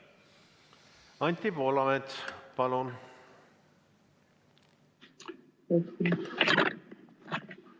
Anti Poolamets, palun!